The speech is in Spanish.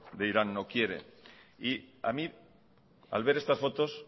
de irán no quiere y a mí al ver estas fotos